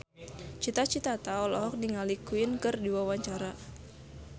Cita Citata olohok ningali Queen keur diwawancara